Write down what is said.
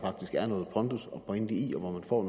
er noget pondus og pointe i og hvor